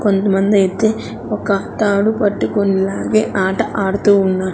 కొంతమందైతే ఒక తాడు పట్టికొని లాగే ఆట ఆడుతూ ఉన్న--